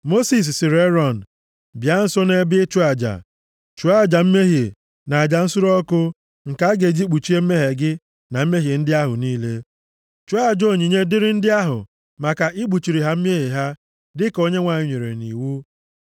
Mosis sịrị Erọn, “Bịa nso nʼebe ịchụ aja. Chụọ aja mmehie, na aja nsure ọkụ nke a ga-eji kpuchie mmehie gị na mmehie ndị ahụ niile. Chụọ aja onyinye dịrị ndị ahụ, maka ikpuchiri ha mmehie ha, dịka Onyenwe anyị nyere nʼiwu.”